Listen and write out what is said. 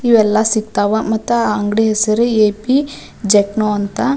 ಇವೆಲ್ಲ ಸಿಗ್ತಾವ ಮತ್ತ ಆಹ್ಹ್ ಅಂಗಡಿ ಹೆಸರು ಎ ಪಿ ಜಾಕ್ನೋ ಅಂತ --